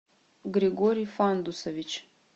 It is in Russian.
григорий фандусович